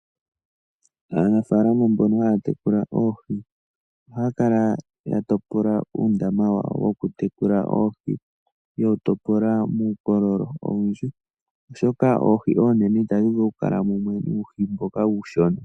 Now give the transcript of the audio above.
Aanafalama mbono haya tekula oohi ohaya kala taya topola uundama wokutekula oohi yewu topola muukololo owundji oshoka oohi oonene itadhi vulu okukala mumwe nuuhi mboka uushona.